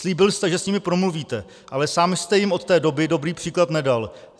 Slíbil jste, že s nimi promluvíte, ale sám jste jim od té doby dobrý příklad nedal.